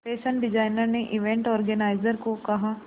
fashion designer ने event organiser को कहा